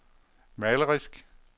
malerisk